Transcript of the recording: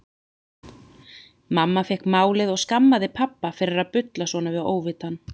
Mamma fékk málið og skammaði pabba fyrir að bulla svona við óvitann.